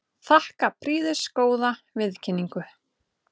Þakka prýðisgóða viðkynningu.